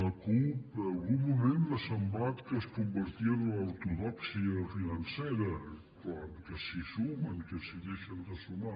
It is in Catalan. la cup en algun moment m’ha semblat que es convertien a l’ortodòxia financera que si sumen que si deixen de sumar